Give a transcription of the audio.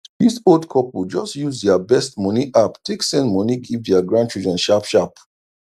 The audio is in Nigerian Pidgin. dis old couple just use dia best moni app take send moni give dia grandchildren sharp sharp